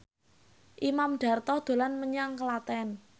Imam Darto dolan menyang Klaten